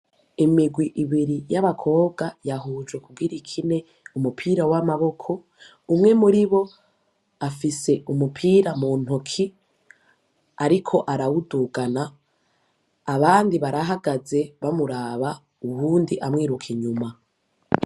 Imigwi ibiri y'abakobwa ,yahujwe kugira ikine umupira w'amaboko, umwe muribo afise umupira mu ntoki ariko arawudugana, abandi barahagaze bamuraba ,uwundi amwiruka inyuma.